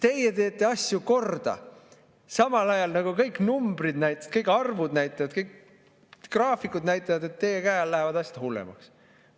–, kuidas nemad teevad asju korda, samal ajal kõik numbrid, kõik arvud näitavad, kõik graafikud näitavad, et nende käe all lähevad asjad hullemaks.